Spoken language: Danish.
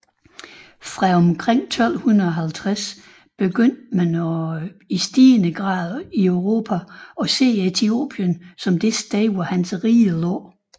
Fra omkring 1250 begyndte man i stigende grad i Europa at se Ethiopien som det sted hvor hans rige lå